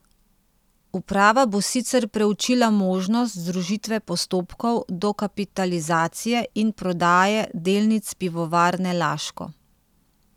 Uprava bo sicer preučila možnost združitve postopkov dokapitalizacije in prodaje delnic Pivovarne Laško.